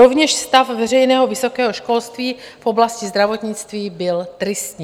Rovněž stav veřejného vysokého školství v oblasti zdravotnictví byl tristní.